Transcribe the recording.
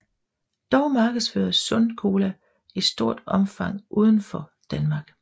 Dog markedsføres Sun Cola i stort omfang udenfor Danmark